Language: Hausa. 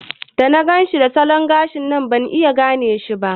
Da na ganshi da salon gashin nan ban iya gane shi ba.